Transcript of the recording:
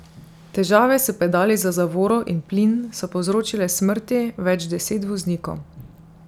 Težave s pedali za zavoro in plin so povzročile smrti več deset voznikov.